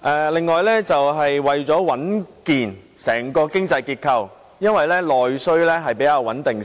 而另一個原因是為了穩定整個經濟結構，因為內需相對較為穩定。